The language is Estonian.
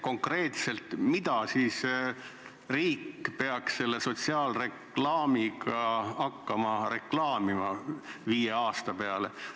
Konkreetselt mida peaks riik selle sotsiaalreklaamiga hakkama viie aasta peale reklaamima?